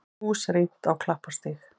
Hús rýmt á Klapparstíg